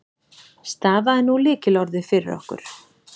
Stafaðu nú lykilorðið fyrir okkur.